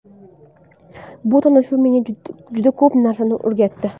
Bu tanishuv menga juda ko‘p narsani o‘rgatdi.